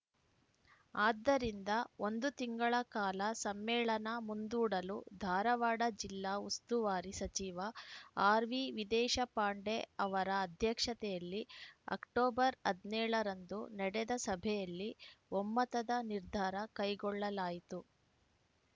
ಆದ್ದರಿಂದ ಒಂದು ತಿಂಗಳ ಕಾಲ ಸಮ್ಮೇಳನ ಮುಂದೂಡಲು ಧಾರವಾಡ ಜಿಲ್ಲಾ ಉಸ್ತುವಾರಿ ಸಚಿವ ಆರ್‌ವಿದೇಶಪಾಂಡೆ ಅವರ ಅಧ್ಯಕ್ಷತೆಯಲ್ಲಿ ಅಕ್ಟೋಬರ್ ಹದ್ ನೇಳ ರಂದು ನಡೆದ ಸಭೆಯಲ್ಲಿ ಒಮ್ಮತದ ನಿರ್ಧಾರ ಕೈಗೊಳ್ಳಲಾಯಿತು